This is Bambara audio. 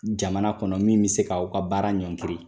Jamana kɔnɔ min be se k'aw ka baara ɲɔngiri.